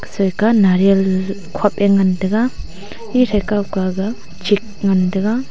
soI ke nariyal khop a ngan tega e soI kaw ke ga chik ngan tega.